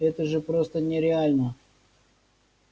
это же просто нереально